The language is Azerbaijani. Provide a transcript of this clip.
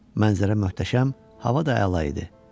Mənzərə möhtəşəm, hava da əla idi.